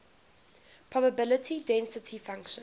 probability density function